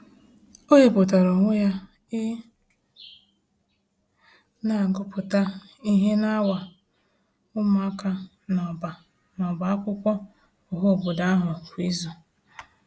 O wepụtara onwe ya ị na-agụpụta ihe n’awa ụmụaka n'ọbá n'ọbá akwụkwọ ọhaobodo ahụ kwa izu.